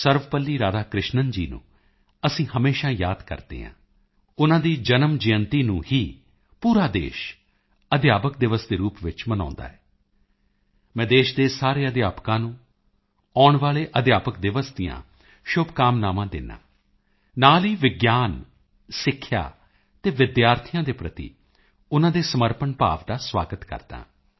Sarvepalli Radhakrishnan ji ਨੂੰ ਅਸੀਂ ਹਮੇਸ਼ਾ ਯਾਦ ਕਰਦੇ ਹਾਂ ਉਨ੍ਹਾਂ ਦੀ ਜਨਮ ਜਯੰਤੀ ਨੂੰ ਹੀ ਪੂਰਾ ਦੇਸ਼ ਅਧਿਆਪਕ ਦਿਵਸ ਦੇ ਰੂਪ ਵਿੱਚ ਮਨਾਉਦਾ ਹੈ ਮੈਂ ਦੇਸ਼ ਦੇ ਸਾਰੇ ਅਧਿਆਪਕਾਂ ਨੂੰ ਆਉਣ ਵਾਲੇ ਅਧਿਆਪਕ ਦਿਵਸ ਦੀਆਂ ਸ਼ੁਭਕਾਮਨਾਵਾਂ ਦਿੰਦਾ ਹਾਂ ਨਾਲ ਹੀ ਵਿਗਿਆਨ ਸਿੱਖਿਆ ਅਤੇ ਵਿਦਿਆਰਥੀਆਂ ਦੇ ਪ੍ਰਤੀ ਉਨ੍ਹਾਂ ਦੇ ਸਮਰਪਣ ਭਾਵ ਦਾ ਸਵਾਗਤ ਕਰਦਾ ਹਾਂ